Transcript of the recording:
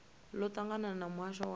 ḽo ṱangana na muhasho wa